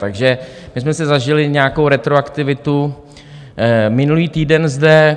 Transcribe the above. Takže my jsme si zažili nějakou retroaktivitu minulý týden zde.